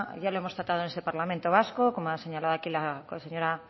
ya lo hemos tratado en este parlamento vasco como ha señalado aquí la señora